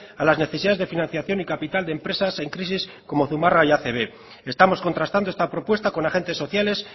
a las necesidades de financiación y capital de empresas en crisis como zumarraga y acb estamos contrastando esta propuesta con agentes sociales